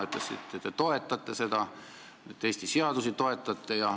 Te ütlesite, et te toetate seda ja Eesti seadusi.